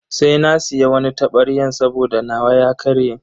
Sai na siya wani tabaryan saboda nawa ya karye.